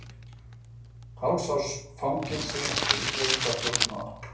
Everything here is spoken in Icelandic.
Hálfs árs fangelsi fyrir fjölda þjófnaða